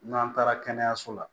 N'an taara kɛnɛyaso la